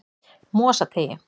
Mosateigi